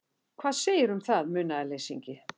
Hvað segirðu um það, munaðarleysingi?